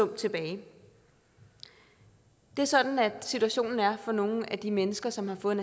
tilbage det er sådan situationen er for nogle af de mennesker som har fået